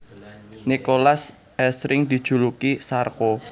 Nicolas asring dijuluki Sarko